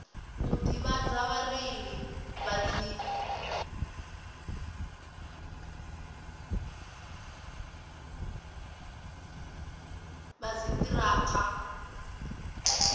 u ḓivhadza vhareili vha dziṱhirakha